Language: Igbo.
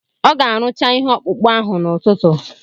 Ọ ga-arụcha ihe ọkpụkpụ ahụ n'ụtụtụ